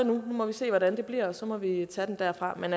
nu må vi se hvordan det bliver og så må vi tage den derfra men